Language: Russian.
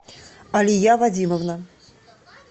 алия вадимовна